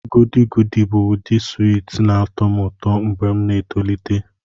Goody goody bụ ụdị swiiti na-atọ m ụtọ mgbe m na-etolite.